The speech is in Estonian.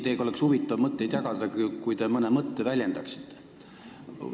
Teiega oleks huvitav mõtteid vahetada, kui te mõne mõtte ka väljendaksite.